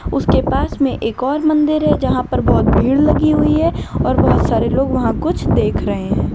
उसके पास में एक और मंदिर है जहां पर बहुत सारी भीड़ लगी हुई है और लोग वहां कुछ देख रहे हैं।